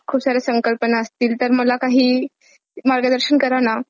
खूप साऱ्या संकल्पना असतील तर मला काही मार्गदर्शन करा ना .